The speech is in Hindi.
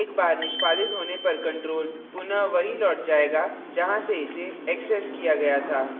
एक बार निष्पादित होने पर control पुनः वहीं लौट जाएगा जहाँ से इसे accessed किया गया था